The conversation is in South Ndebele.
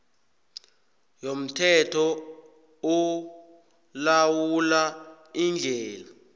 yomthetho olawula iindlela